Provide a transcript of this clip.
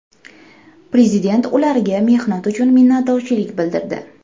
Prezident ularga mehnati uchun minnatdorchilik bildirdi.